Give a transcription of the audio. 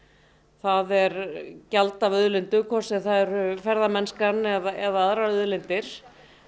það er gjald af auðlindum hvort sem það eru ferðamennskan eða aðrar auðlindir